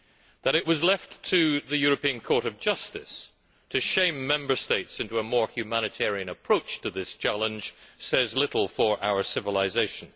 That it was left to the European Court of Justice to shame Member States into a more humanitarian approach to this challenge says little for our civilisation.